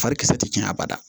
Fari kisɛ ti cɛn a ba da